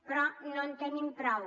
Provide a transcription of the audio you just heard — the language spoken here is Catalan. però no en tenim prou